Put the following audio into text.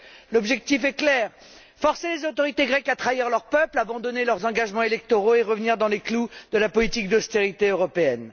En fait, l'objectif est clair forcer les autorités grecques à trahir leur peuple, à abandonner leurs engagements électoraux et à revenir dans les clous de la politique d'austérité européenne.